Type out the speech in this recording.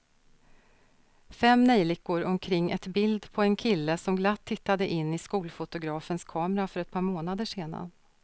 Fem neljikor omkring ett bild på en kille som glatt tittade in i skolfotografens kamera för ett par månader sedan.